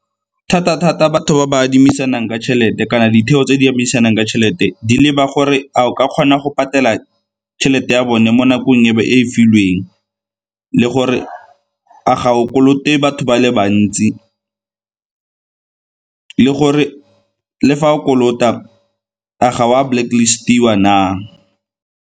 Thata-thata batho ba ba adimisanang ka tšhelete kana ditheo tse di adimisanang ka tšhelete di leba gore a o ka kgona go patela tšhelete ya bone mo nakong e e filweng le gore re a ga o kolote batho ba le bantsi, le gore le fa o kolota a ga o a blacklist-iwa na?